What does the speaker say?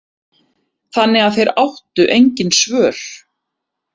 Þannig að þeir áttu engin svör.